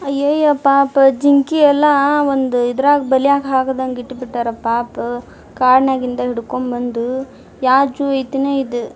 ಅಯೋಯಪ್ಪಾ ಪ ಜಿಂಕಿ ಎಲ್ಲಾ ಒಂದು ಇದ್ರಗ್ ಬಲೆಗ್ ಹಾಕದಂಗ್ ಇಟ್ಟಬಿಟ್ಟರ್ ಪಾಪ ಕಾಡ್ ನಾಗಿಂದ ಹಿಡಕೊಂಡ್ ಬಂದು ಯಾ ಝೋವ್ ಆಯ್ತೆನೋ ಇದು --